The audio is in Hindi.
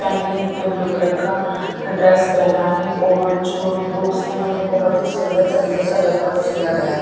पानी है इसमें ब्लू कलर का ड्रेस पहना है और जो बुक्स है उन्हे बोहोत ही सुन्दर तरीके से डेकोर क्या गया है।